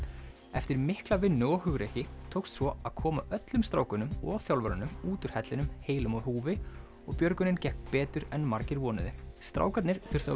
eftir mikla vinnu og hugrekki tókst svo að koma öllum strákunum og þjálfararnum út úr hellinum heilum á húfi og björgunin gekk betur en margir vonuðu strákarnir þurftu